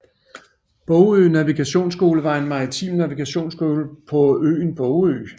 Bogø Navigationsskole var en maritim navigationsskole på øen Bogø